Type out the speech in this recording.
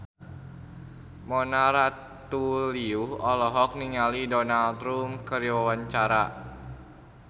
Mona Ratuliu olohok ningali Donald Trump keur diwawancara